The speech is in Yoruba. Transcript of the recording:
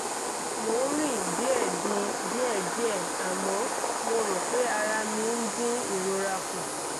mo ń rìn díẹ̀dì díẹ̀díẹ̀ àmọ́ mo rò pé ara mi ń dín ìrora kù